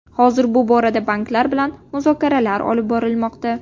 Hozir bu borada banklar bilan muzokaralar olib borilmoqda.